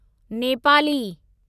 Nepali